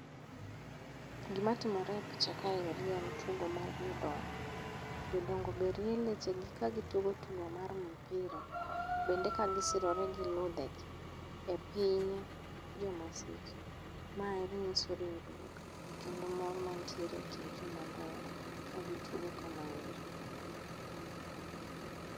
Gima timore e picha ka eri en tugo mar jodongo. Jodongo be rie lechegi ka gitugo tugo mar mpira, bende kagisirore gi ludhegi e piny jo Masej. Ma emanyiso riwruok kendo mor mantiere e kind jomadongo kagitugo kamaeri.